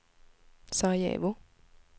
Sarajevo